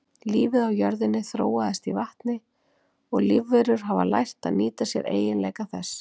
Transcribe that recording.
Lífið á jörðinni þróaðist í vatni og lífverur hafa lært að nýta sér eiginleika þess.